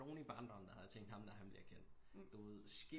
Nogen i barndommen der havde tænkt ham der han bliver kendt